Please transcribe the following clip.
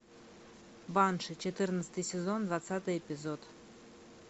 банши четырнадцатый сезон двадцатый эпизод